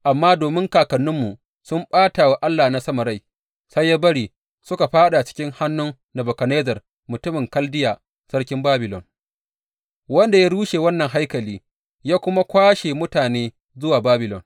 Amma domin kakanninmu sun ɓata wa Allah na sama rai, sai ya bari suka fāɗa cikin hannun Nebukadnezzar mutumin Kaldiya, sarkin Babilon, wanda ya rushe wannan haikali, ya kuma kwashe mutane zuwa Babilon.